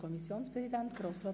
Kommissionspräsident der GSoK.